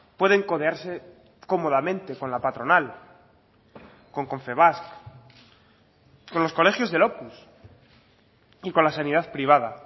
pueden codearse cómodamente con la patronal con confebask con los colegios del opus y con la sanidad privada